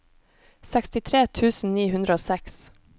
sekstitre tusen ni hundre og seks